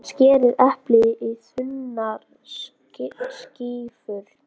Skerið eplið í þunnar skífur.